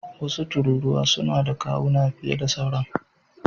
Wasu tururuwa suna da kawuna fiye da sauran.